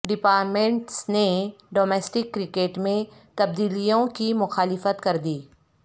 departments نے domestic cricket میں تبدیلیوں کی مخالفت کردی